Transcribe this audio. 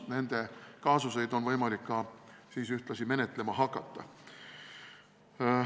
Seal oleks võimalik ka nende kaasuseid menetlema hakata.